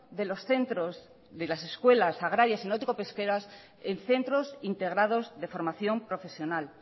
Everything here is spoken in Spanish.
de los centros de las escuelas agrarias y náutico pesqueras en centros integrados de formación profesional